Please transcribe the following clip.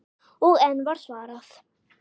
Og enn var svarað